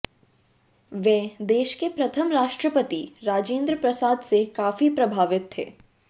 वे देश के प्रथम राष्ट्रपति राजेंद्र प्रसाद से काफी प्रभावित थे